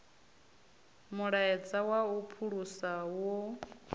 mulaedza wa u phulusa wo